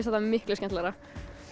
þetta miklu skemmtilegra